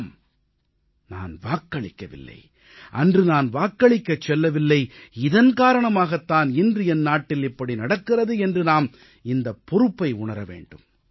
ஆம் நான் வாக்களிக்கவில்லை அன்று நான் வாக்களிக்கச் செல்லவில்லை இதன் காரணமாகத் தான் இன்று என் நாட்டில் இப்படி நடக்கிறது என்று நாம் இந்தப் பொறுப்பை உணர வேண்டும்